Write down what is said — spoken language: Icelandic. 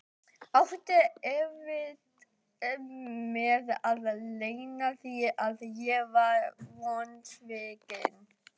Átti erfitt með að leyna því að ég var vonsvikinn.